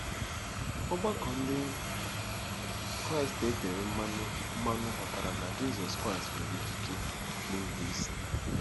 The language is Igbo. Ọgbakọ Ndị Kraịst e tere mmanụ mmanụ ghọtara na Jizọs Kraịst nwere ikike na ịbụisi.